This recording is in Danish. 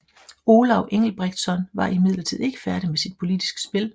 Olav Engelbrektsson var imidlertid ikke færdig med sit politiske spil